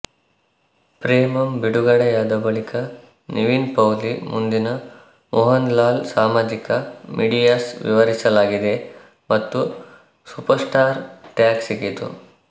ಪ್ರೆಮಂ ಬಿಡುಗಡೆಯಾದ ಬಳಿಕ ನಿವಿನ್ ಪೌಲಿ ಮುಂದಿನ ಮೋಹನ್ಲಾಲ್ ಸಾಮಾಜಿಕ ಮೀಡಿಯಾಸ್ ವಿವರಿಸಲಾಗಿದೆ ಮತ್ತು ಸೂಪರ್ಸ್ಟಾರ್ ಟ್ಯಾಗ್ ಸಿಕ್ಕಿತು